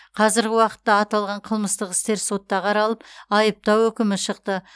казіргі уақытта аталған қылмыстық істер сотта қаралып айыптау үкімі шықты